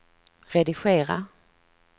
redigera